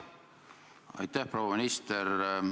Aitäh, proua minister!